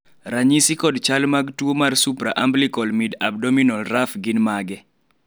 ranyisi kod chal mag tuo mar Supraumbilical midabdominal raphe gin mage?